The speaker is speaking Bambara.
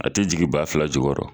A te jigin baa fila ju koro